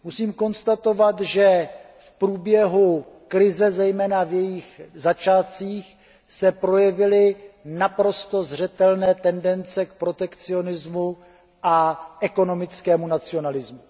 Musím konstatovat, že v průběhu krize, zejména v jejích začátcích, se projevily naprosto zřetelné tendence k protekcionismu a ekonomickému nacionalismu.